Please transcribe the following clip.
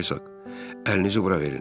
Əlinizi bura verin.